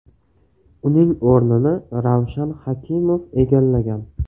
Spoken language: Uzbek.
Uning o‘rnini Ravshan Hakimov egallagan.